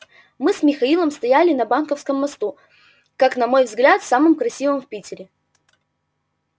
мы с михаилом стояли на банковском мосту как на мой взгляд самом красивом в питере